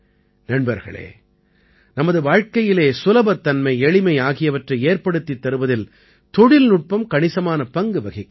நண்பர்களே நமது வாழ்க்கையிலே சுலபத்தன்மை எளிமை ஆகியவற்றை ஏற்படுத்தித் தருவதில் தொழில்நுட்பம் கணிசமான பங்கு வகிக்கிறது